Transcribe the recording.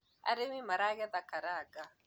arĩmi maragetha karanga